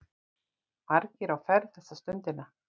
Margir á ferð þessa stundina.